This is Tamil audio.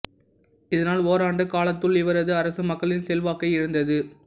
இதனால் ஓராண்டு காலத்துள் இவரது அரசு மக்களின் செல்வாக்கை இழந்தது